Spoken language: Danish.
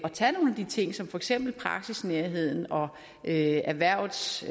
de ting som for eksempel praksisnærheden og erhvervets